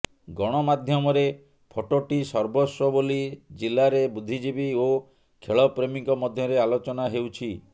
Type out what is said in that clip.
ଗଣମାଧ୍ୟମରେ ଫଟୋହିଁ ସର୍ବସ୍ୱ ବୋଲି ଜିଲାରେ ବୁଦ୍ଧିଜିବୀ ଓ ଖେଳପ୍ରେମୀଙ୍କ ମଧ୍ୟରେ ଆଲୋଚନା ହେଉଛି